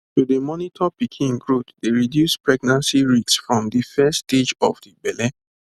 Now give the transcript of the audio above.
to dey monitor pikin growth dey reduce pregnancy risks from de first stage of de belle